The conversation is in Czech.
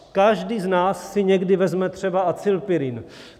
Každý z nás si někdy vezme třeba acylpyrin.